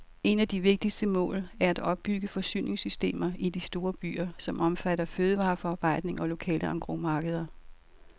Et af de vigtigste mål er at opbygge forsyningssystemer i de store byer, som omfatter fødevareforarbejdning og lokale engrosmarkeder.